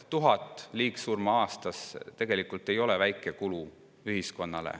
1000 liigsurma aastas ei ole ühiskonnale tegelikult väike kulu.